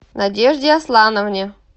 надежде аслановне